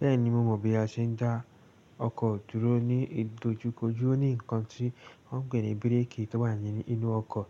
Bẹ́ẹ̀ni, mo mọ̀ bí a ṣe ń dá ọkọ̀ dúró ní ìdojúkojú. Ó ní ǹkan tí wọ́n ń pè ní bírèèkì tó wà ní inú ọkọ̀